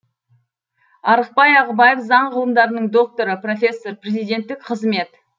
арықбай ағыбаев заң ғылымдарының докторы профессор президенттік қызмет